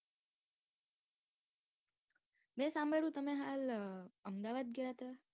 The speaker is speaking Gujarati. મેં સાંભળ્યું તમે હાલ અમદાવાદ ગયા હતા.